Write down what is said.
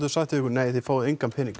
sagt við ykkur nei þið fáið engan pening